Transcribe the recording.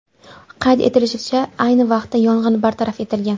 Qayd etilishicha, ayni vaqtda yong‘in bartaraf etilgan.